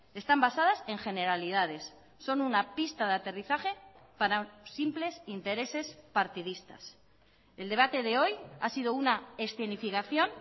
están basadas en generalidades son una pista de aterrizaje para simples intereses partidistas el debate de hoy ha sido una escenificación